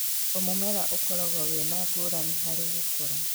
O mũmera ũkoragwo wĩ na ngũrani hari gũkũra